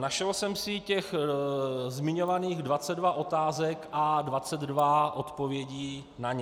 Našel jsem si těch zmiňovaných 22 otázek a 22 odpovědí na ně.